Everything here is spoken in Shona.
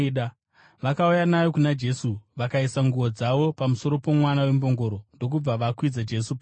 Vakauya nayo kuna Jesu, vakaisa nguo dzavo pamusoro pomwana wembongoro ndokubva vakwidza Jesu pairi.